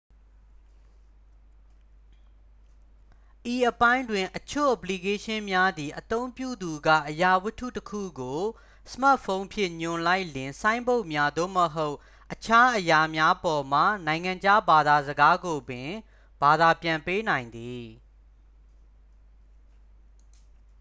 ဤအပိုင်းတွင် အချို့ အပလီကေးရှင်းများသည် အသုံးပြုသူက အရာဝတ္ထုတစ်ခုကို စမတ်ဖုန်းဖြင့် ညွှန်လိုက်လျှင် ဆိုင်းဘုတ်များ သို့မဟုတ် အခြားအရာများပေါ်မှ နိုင်ငံခြားဘာသာစကားကိုပင် ဘာသာပြန်ပေးနိုင်သည်